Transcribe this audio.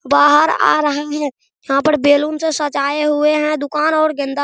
बाहर आ रहा है यहां पर बलून से सजाए हुए है दुकान और गेंदा --